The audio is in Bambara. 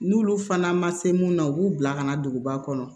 N'olu fana ma se mun na u b'u bila ka na duguba kɔnɔ